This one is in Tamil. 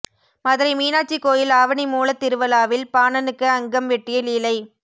மதுரை மீனாட்சி கோயில் ஆவணி மூலத்திருவிழாவில் பாணனுக்கு அங்கம் வெட்டிய லீலை